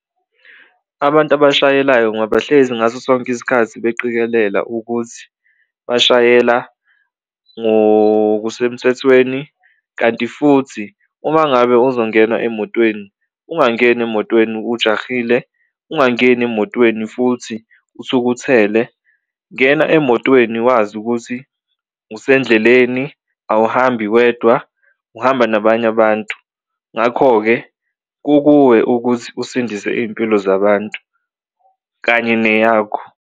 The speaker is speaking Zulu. Abantu abashayelayo hlezi ngaso sonke isikhathi beqikelela ukuthi bashayela ngokusemthethweni kanti futhi uma ngabe uzongena emotweni ungangeni emotweni ujahile, ungangeni emotweni futhi uthukuthele. Ngena emotweni wazi ukuthi usendleleni awuhambi wedwa uhamba nabanye abantu ngakho-ke, kukuwe ukuthi usindise iy'mpilo zabantu kanye neyakho.